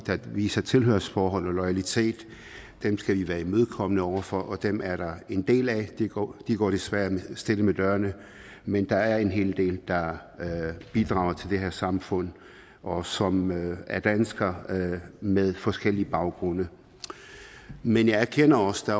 der viser et tilhørsforhold og loyalitet skal vi være imødekommende over for og dem er der en del af de går går desværre stille med dørene men der er en hel del der bidrager til det her samfund og som er danskere med forskellige baggrunde men jeg erkender også at